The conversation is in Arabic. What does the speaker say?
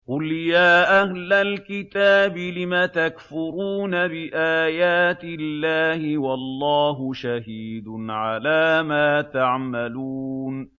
قُلْ يَا أَهْلَ الْكِتَابِ لِمَ تَكْفُرُونَ بِآيَاتِ اللَّهِ وَاللَّهُ شَهِيدٌ عَلَىٰ مَا تَعْمَلُونَ